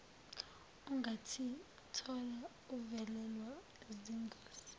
ungazithola uvelelwa zingozi